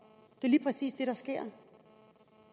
det er lige præcis det der sker